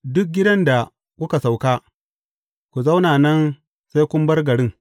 Duk gidan da kuka sauka, ku zauna nan sai kun bar garin.